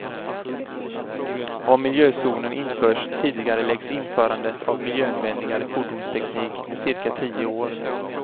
Om miljözonen införs tidigareläggs införandet av miljövänligare fordonsteknik med cirka tio år.